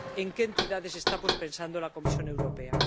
¿En qué entidades está, pues, pensando la Comisión Europea?